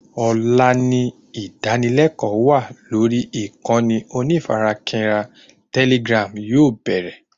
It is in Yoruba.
Ọ̀la ni ìdánilékòó wa lórí ìkànnì onífarakínra telegram yóò bẹ̀rẹ̀